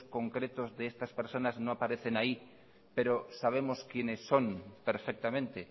concretos de estas personas no aparecen ahí pero sabemos quiénes son perfectamente